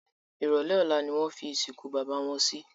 Ìrọ̀lé Ọ̀la ni wọ́n fi ìsìnkú bàbá wọn si